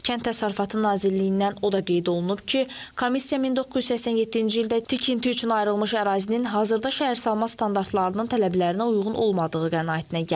Kənd Təsərrüfatı Nazirliyindən o da qeyd olunub ki, komissiya 1987-ci ildə tikinti üçün ayrılmış ərazinin hazırda şəhərsalma standartlarının tələblərinə uyğun olmadığı qənaətinə gəlib.